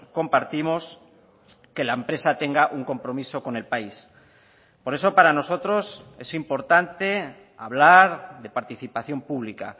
compartimos que la empresa tenga un compromiso con el país por eso para nosotros es importante hablar de participación pública